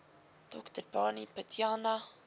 dr barney pityana